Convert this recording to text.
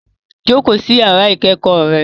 Jókòó sí yàrá ìkẹ́kọ̀ọ́ rẹ